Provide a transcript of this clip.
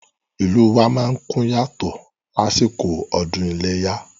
Ìlú wa má ń kún yàtọ̀ lásìkò ọdún iléyá